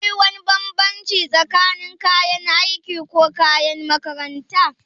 Shin da akwai wani bambanci tsakanin kayan aiki ko kayan makaranta?